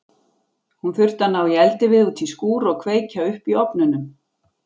Hún þurfti að ná í eldivið út í skúr og kveikja upp í ofnunum.